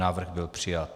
Návrh byl přijat.